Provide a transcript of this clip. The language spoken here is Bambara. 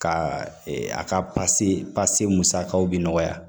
Ka a ka musakaw bi nɔgɔya